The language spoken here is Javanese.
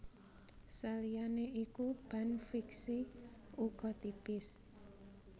Saliyane iku ban fixie uga tipis